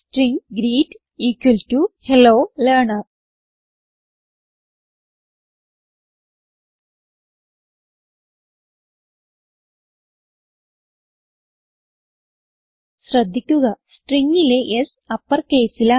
string greet equal to hello learner ശ്രദ്ധിക്കുക Stringലെ S uppercaseൽ ആണ്